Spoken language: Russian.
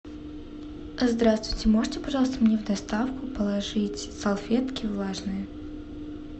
здравствуйте можете пожалуйста мне в доставку положить салфетки влажные